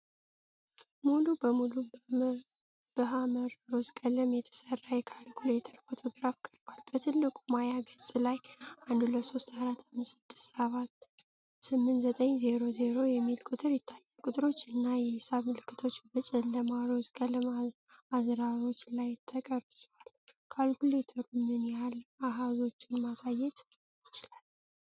ሙሉ በሙሉ በሐመር ሮዝ ቀለም የተሠራ የካልኩሌተር ፎቶግራፍ ቀርቧል። በትልቁ ማያ ገጽ ላይ '123456789000' የሚል ቁጥር ይታያል። ቁጥሮቹ እና የሒሳብ ምልክቶቹ በጨለማ ሮዝ ቀለም አዝራሮች ላይ ተቀርጸዋል። ካልኩሌተሩ ምን ያህል አሃዞችን ማሳየት ይችላል?